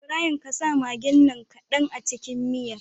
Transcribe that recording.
Ibrahim ƙasa maggin nan kadan a cikin miyar